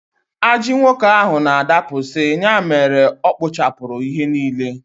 Ajị nwoke ahụ na-adapụsị, ya mere ọkpụchapụrụ ihe niile